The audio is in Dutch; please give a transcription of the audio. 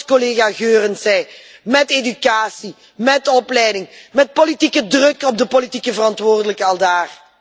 Zoals collega Goerens zei met educatie, met opleiding, met politieke druk op de politieke verantwoordelijken aldaar.